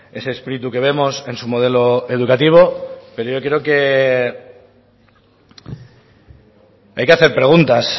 ese espíritu que vemos en su modelo educativo pero yo creo que hay que hacer preguntas